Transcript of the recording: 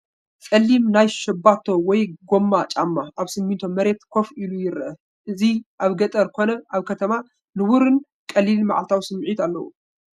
ጸሊም ናይ ሻባቶ ወይ ጎማ ጫማ ኣብ ስሚንቶ መሬት ኮፍ ኢሉ ይርአ። እቲ ኣብ ገጠር ኮነ ኣብ ከተማ ንቡርን ቀሊልን መዓልታዊን ስምዒት ኣለዎ።